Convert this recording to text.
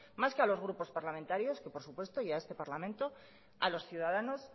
más que a los grupos parlamentarios que por supuesto y a este parlamento a los ciudadanos